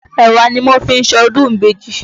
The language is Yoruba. Èwà ni wọ́n fi ń ṣọdún ìbejì.